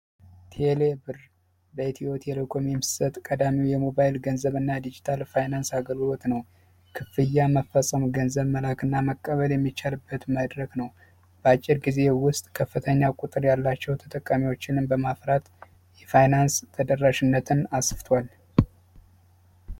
ቴሌ ብር በኢትዮ ቴሌኮም የሚሰጥ ቀዳሚ የሞባይል ገንዘብና ዲጂታል ፋይናንስ አገልግሎት ነው። ክፍያ መፈፀሙ ገንዘብ መላክ እና መቀበል የሚቻልበት መድረክ ነው። በአጭር ጊዜ ውስጥ ከፍተኛ ቁጥር ያላቸው ተጠቃሚዎችን በማፍራት የፋይናንስ ተደራሽነትን አስፍቷል።